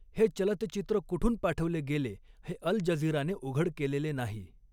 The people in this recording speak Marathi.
हे चलतचित्र कुठून पाठवले गेले हे अल जझिराने उघड केलेले नाही.